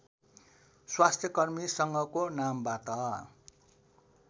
स्वास्थ्यकर्मी सङ्घको नामबाट